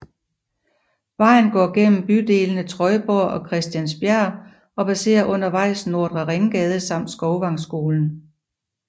Vejen går igennem bydelene Trøjborg og Christiansbjerg og passerer undervejs Nordre Ringgade samt Skovvangskolen